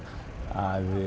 að